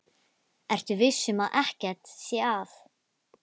Ertu viss um að ekkert sé að?